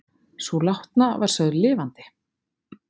Sú látna var sögð lifandi